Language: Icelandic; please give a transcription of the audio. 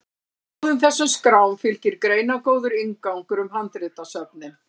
báðum þessum skrám fylgir greinargóður inngangur um handritasöfnin